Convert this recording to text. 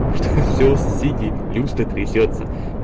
и что всего соседей люстра трясётся